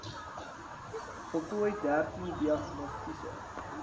voltooi dertien diagnostiese